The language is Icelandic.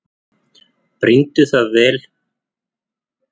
Brýndu það fyrir Margréti að hylja sig vel og yrða ekki á nokkurn mann.